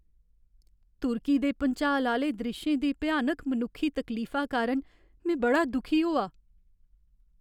तुर्की दे भुंचाल आह्‌ले द्रिश्शें दी भ्यानक मनुक्खी तकलीफा कारण में बड़ा दुखी होआ।